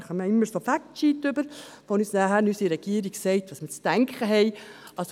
Wir erhalten immer solche Factsheets, mit denen uns unsere Regierung sagt, was wir zu denken haben.